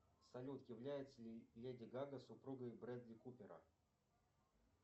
салют является ли леди гага супругой брэдли купера